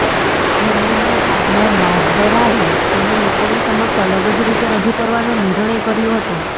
વિલિયમના partner બાર્બરાએ તેને લોકોની સમક્ષ અલગ જ રીતે રજૂ કરવાનો નિર્ણય કર્યો હતો